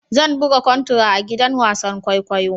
Zan buga contra a gidan wasan kwaikwayo.